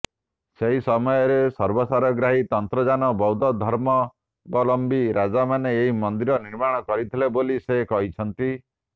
ସେହି ସମୟରେ ସର୍ବସାରଗ୍ରାହୀ ତନ୍ତ୍ରଯାନ ବୌଦ୍ଧ ଧର୍ମାବଲମ୍ବୀ ରାଜାମାନେ ଏହି ମନ୍ଦିର ନିର୍ମାଣ କରିଥିଲେ ବୋଲି ସେ କହିଛନ୍ତି